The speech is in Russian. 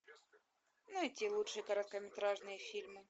найти лучшие короткометражные фильмы